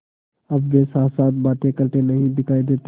अब वे साथसाथ बातें करते नहीं दिखायी देते